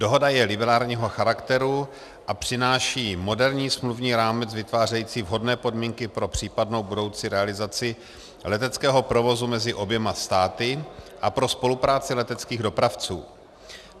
Dohoda je liberálního charakteru a přináší moderní smluvní rámec vytvářející vhodné podmínky pro případnou budoucí realizaci leteckého provozu mezi oběma státy a pro spolupráci leteckých dopravců.